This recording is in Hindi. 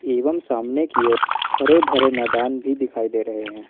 एवं सामने की ओर हरे भरे मैदान भी दिखाई दे रहे हैं।